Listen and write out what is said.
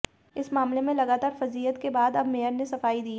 इस मामले में लगातार फजीहत के बाद अब मेयर ने सफाई दी है